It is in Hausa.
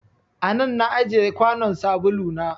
A nan na ajiye kwanon sabulu na.